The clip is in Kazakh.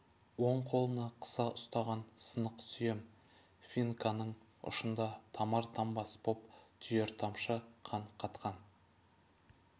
оң қолына қыса ұстаған сынық сүйем финканың ұшында тамар-тамбас боп түйір тамшы қан қатқан